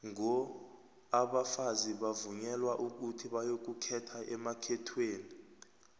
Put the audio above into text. ngo abafazi bavunyelwa ukuthi bayokukhetha emakhethweni